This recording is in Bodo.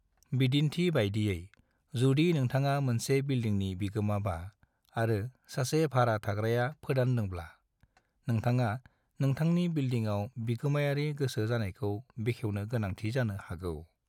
NaN